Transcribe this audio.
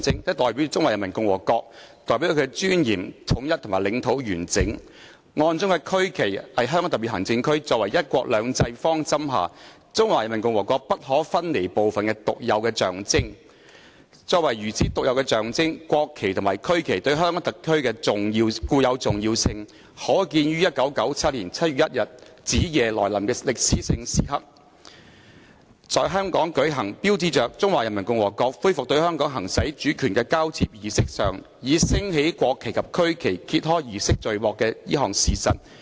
它代表中華人民共和國，代表她的尊嚴、統一及領土完整......案中區旗是香港特別行政區，作為'一國兩制'方針下中華人民共和國不可分離部分的獨有的象徵......作為如此獨有的象徵，國旗及區旗對香港特區的固有重要性可見於1997年7月1日子夜來臨的歷史性時刻，在香港舉行，標誌着中華人民共和國恢復對香港行使主權的交接儀式上，以升起國旗及區旗揭開儀式序幕的這項事實。